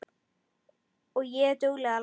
Og er dugleg að læra.